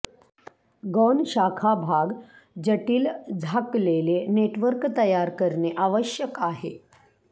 गौण शाखा भाग जटिल झाकलेले नेटवर्क तयार करणे आवश्यक आहे